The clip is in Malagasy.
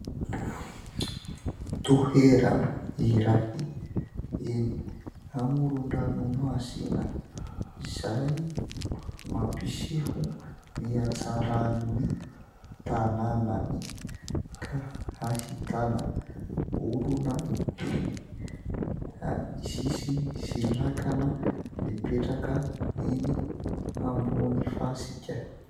Toerana iray eny amoron-dranomasina izay mampiseho ny hatsaran'ny tanànany ka hahitana olona eny amin'ny sisiny sy lakana mipetraka eny ambony fasika.